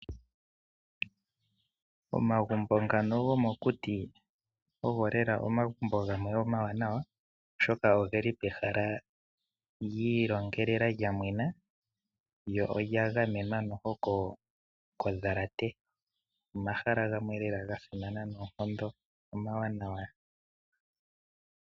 Omagumbo ngono gomukuti ogo lela omagumbo gamwe omawanawa, oshoka ogeli pehala giilongelelwa, lyo olya gamenwa kondhalate. Omahala ngano omahala gamwe gasimana noonkondo, omawanawa.